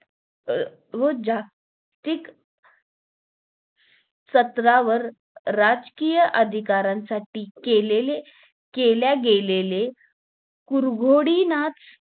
अं व जागतिक स्तरावर राजकीय अधिकारांसाठी केलेले केल्या गेलेले पुरवडीचं